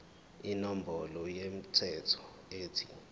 inombolo yomthelo ethi